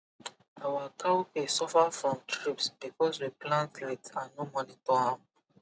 our cowpea suffer from thrips because we plant late and no monitor am